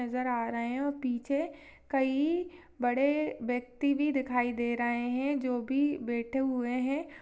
नजर आ रहे है और पीछे कई बड़े व्यक्ति भी दिखाई दे रहे है जो की बैठे हुए है।